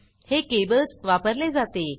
हे केबल्स वापरले जाते